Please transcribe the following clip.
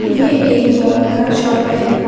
ये एक फोन का शॉप है।